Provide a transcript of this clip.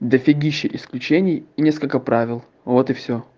дофигища исключений и несколько правил вот и всё